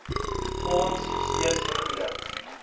fonds steeds vergoeding